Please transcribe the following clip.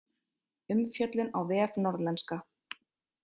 Umfjöllun á vef Norðlenska